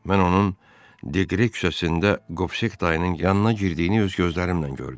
Mən onun Diqre küçəsində Qovsek dayının yanına girdiyini öz gözlərimlə gördüm.